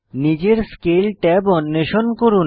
নিজের scale tab অন্বেষণ করুন